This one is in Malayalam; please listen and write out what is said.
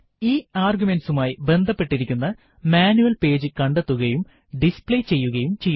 ഈ ആർഗ്യുമെന്റ്സുമായി ബന്ധപ്പെട്ടിരിക്കുന്ന മാനുവൽ പേജു കണ്ടെത്തുകയും ഡിസ്പ്ലേ ചെയ്യുകയും ചെയ്യുന്നു